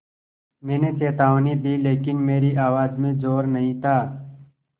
मैंने चेतावनी दी लेकिन मेरी आवाज़ में ज़ोर नहीं था